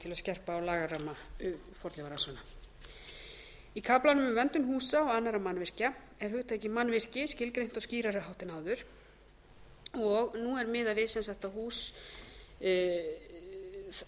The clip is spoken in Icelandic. til að skerpa á lagaramma fornleifarannsókna sjötti í kaflanum um verndun húsa og annarra mannvirkja er hugtakið mannvirki skilgreint á skýrari hátt en áður aldursmark er